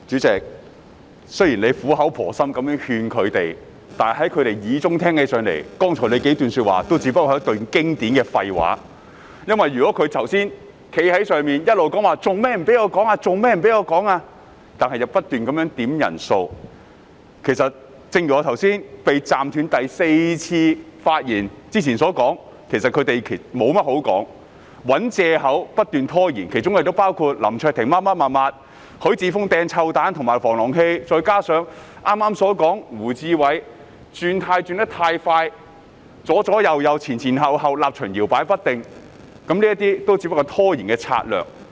代理主席，雖然你苦口婆心地勸諭他們，但在他們耳中，你剛才所說的只是經典的廢話，因為雖然他們剛才在席上不停地質問為何不讓他們發言，卻仍不斷要求點算法定人數，我的發言已因此被打斷4次，正如我剛才所說，其實他們無話可說，只是找藉口來不斷拖延，包括林卓廷議員提出規程問題、許智峯議員投擲"臭彈"和擺放防狼器，以及我剛才提到胡志偉議員快速"轉軚"，左左右右，前前後後，立場搖擺不停，這些也只是拖延的策略。